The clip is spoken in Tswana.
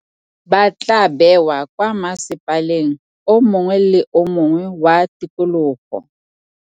Ba tla beewa kwa masepaleng o mongwe le o mongwe wa tikologo.